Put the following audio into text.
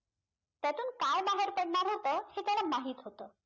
त्यातून काय बाहेर पडणार होतं हे त्याला माहित होतं